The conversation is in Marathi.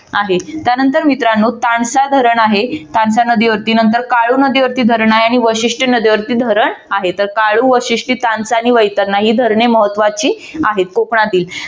त्यानंतर मित्रानो तानसा धरण आहे तानसा नदीवरती नंतर काळू नदीवरती धरण आहे शिष्टी नदीवरती धरण आहे तर काळू व शिष्टी तानसा आणि वैतरणा ही धरणे महत्वाची आहेत. कोकणातील